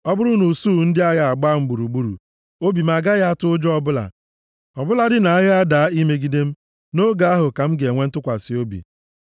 Ọ bụrụ na usuu ndị agha agbaa m gburugburu, obi m agaghị atụ ụjọ ọbụla; ọ bụladị na agha adaa imegide m, nʼoge ahụ, ka m ga-enwe ntụkwasị obi.